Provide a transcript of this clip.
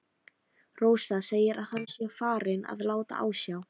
Rósa segir að hann sé farinn að láta á sjá.